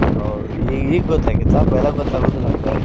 ಹೌದ್ ಈ~ ಈಗ ಗೊತ್ತ पैला ಗೊತ್ತ ಆಗುದಿಲ್ಲ ಹಂಗೆ.